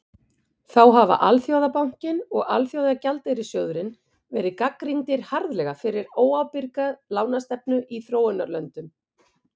þá hafa alþjóðabankinn og alþjóðagjaldeyrissjóðurinn verið gagnrýndir harðlega fyrir óábyrga lánastefnu í þróunarlöndum